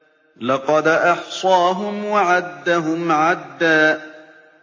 لَّقَدْ أَحْصَاهُمْ وَعَدَّهُمْ عَدًّا